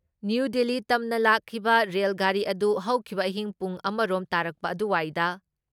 new Delhi ꯇꯝꯅ ꯂꯥꯛꯈꯤꯕ rail ꯒꯥꯔꯤ ꯑꯗꯨ ꯍꯧꯈꯤꯕ ꯑꯍꯤꯡ ꯄꯨꯡ ꯑꯃ ꯔꯣꯝ ꯇꯥꯔꯛꯄ ꯑꯗꯨꯋꯥꯏꯗ